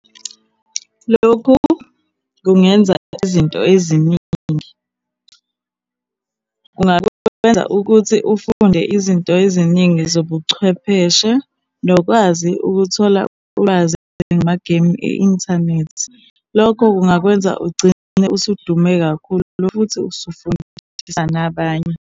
Lokhu kungenza izinto eziningi. Kungakwenza ukuthi ufunde izinto eziningi zobuchwepheshe, nokwazi ukuthola ulwazi ngamageyimu e-inthanethi. Lokho kungakwenza ugcine usudume kakhulu, futhi usufundisa nabanye.